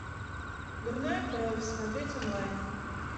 дурная кровь смотреть онлайн